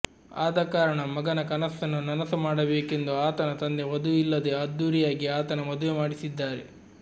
ಆದಕಾರಣ ಮಗನ ಕನಸ್ಸನ್ನು ನನಸು ಮಾಡಬೇಕೆಂದು ಆತನ ತಂದೆ ವಧುವಿಲ್ಲದೇ ಅದ್ದೂರಿಯಾಗಿ ಆತನ ಮದುವೆ ಮಾಡಿಸಿದ್ದಾರೆ